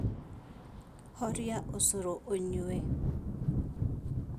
Horia ũcũrũũyũnyue